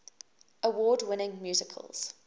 award winning musicals